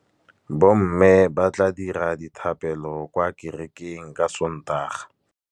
Bommê ba tla dira dithapêlô kwa kerekeng ka Sontaga.